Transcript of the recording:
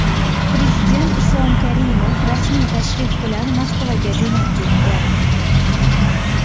Prezident Islom Karimov rasmiy tashrif bilan Moskvaga jo‘nab ketdi.